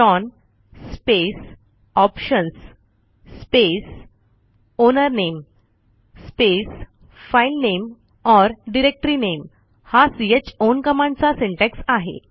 chown space options space owner name space file name or directory name हा chown कमांडचा syntax आहे